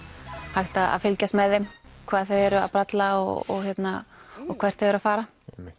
hægt að fylgjast með þeim hvað þau eru að bralla og og hvert þau eru að fara